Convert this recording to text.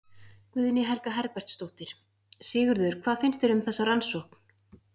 Guðný Helga Herbertsdóttir: Sigurður, hvað finnst þér um þessa rannsókn?